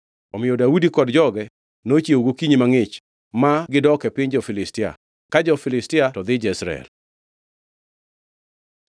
Omiyo Daudi kod joge nochiewo gokinyi mangʼich ma gidok e piny jo-Filistia, ka jo-Filistia to dhi Jezreel.